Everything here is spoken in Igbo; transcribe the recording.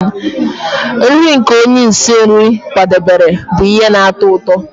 Nri nke onye isi nri kwadebere bụ ihe na-atọ ụtọ